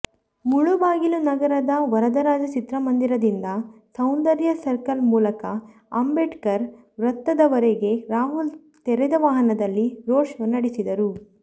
ಮುಳಬಾಗಿಲು ನಗರದ ವರದರಾಜ ಚಿತ್ರಮಂದಿರದಿಂದ ಸೌಂದರ್ಯ ಸರ್ಕಲ್ ಮೂಲಕ ಅಂಬೇಡ್ಕರ್ ವೃತ್ತದವರೆಗೆ ರಾಹುಲ್ ತೆರೆದ ವಾಹನದಲ್ಲಿ ರೋಡ್ ಶೋ ನಡೆಸಿದರು